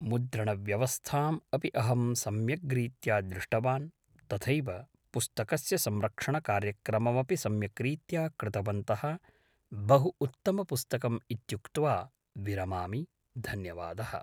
मुद्रणव्यवस्थाम् अपि अहं सम्यग्रीत्या दृष्टवान् तथैव पुस्तकस्य संरक्षणकार्यक्रममपि सम्यक् रीत्या कृतवन्तः बहु उत्तमपुस्तकम् इत्युक्त्वा विरमामि धन्यवादः